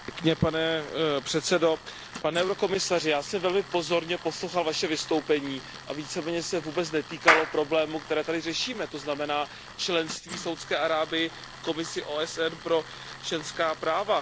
Pane předsedající, pane komisaři, já jsem velmi pozorně poslouchal Vaše vystoupení a víceméně se vůbec netýkalo problémů, které tady řešíme, to znamená členství Saúdské Arábie v Komisi OSN pro ženská práva.